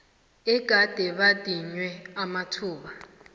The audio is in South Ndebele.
egade badinywe amathuba